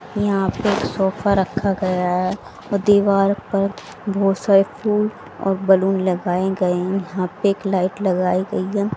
यहां पे एक सोफा रखा गया हैं व दीवार पर बहोत सारे फूल और बैलून लगाए गए यहां पे एक लाइट लगाई गई हैं।